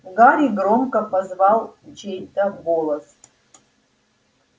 гарри громко позвал чей-то голос